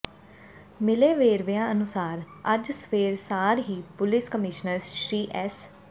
ਮਿਲੇ ਵੇਰਵਿਆਂ ਅਨੁਸਾਰ ਅੱਜ ਸਵੇਰ ਸਾਰ ਹੀ ਪੁਲਿਸ ਕਮਿਸ਼ਨਰ ਸ੍ਰੀ ਐਸ